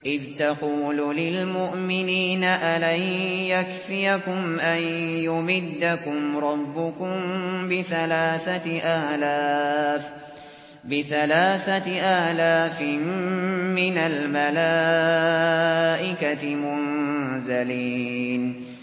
إِذْ تَقُولُ لِلْمُؤْمِنِينَ أَلَن يَكْفِيَكُمْ أَن يُمِدَّكُمْ رَبُّكُم بِثَلَاثَةِ آلَافٍ مِّنَ الْمَلَائِكَةِ مُنزَلِينَ